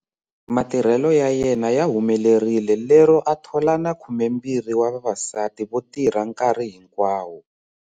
Matirhelo ya yena ya humelerile lero a thola na 12 wa vavasati vo tirha nkarhi hinkwawo.